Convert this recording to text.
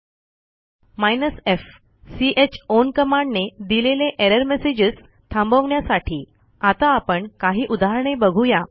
hyphen f चाउन कमांडने दिलेले एरर messagesथांबवण्यासाठी आता आपण काही उदाहरणे बघूया